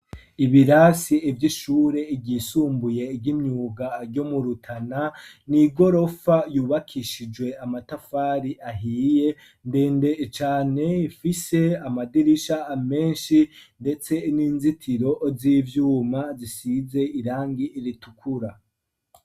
Ibirasi ivyo ishure iryisumbuye igimyuga aryo murutana niigorofa yubakishijwe amatafari ahiye ndende ecane ifise amadirisha amenshi, ndetse n'inzitiro z'ivyuma zisize irangi iritukura.